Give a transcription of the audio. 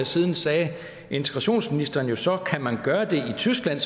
siden sagde integrationsministeren så kan man gøre det i tyskland